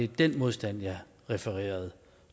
den modstand jeg refererede